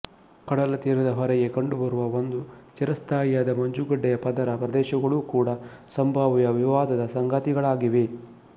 ಕಡಲತೀರದ ಹೊರಗೆ ಕಂಡುಬರುವ ಒಂದು ಚಿರಸ್ಥಾಯಿಯಾದ ಮಂಜುಗಡ್ದೆಯ ಪದರ ಪ್ರದೇಶಗಳೂ ಕೂಡ ಸಂಭಾವ್ಯ ವಿವಾದದ ಸಂಗತಿಗಳಾಗಿವೆ